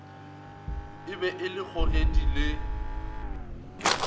e be le kgogedi le